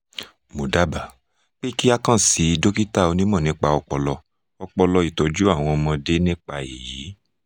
mo dábàá pé kí o kàn sí dókítà onímọ̀ nípa ọpọlọ ọpọlọ ìtọ́jú àwọn ọmọdé nípa èyí